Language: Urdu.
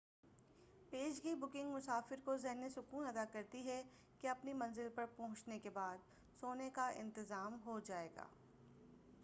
پیشگی بُکنگ مسافر کو ذہنی سکون عطا کرتی ہے کہ اپنی منزل پر پہنچنے کے بعد سونے کا انتظام ہوجائے گا